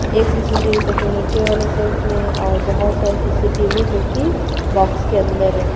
एक सी_सी_टी_वी सबसे नीचे वाले सेल्फ में है और बहोत सारे सी_सी_टी_वी जो की बॉक्स के अंदर है।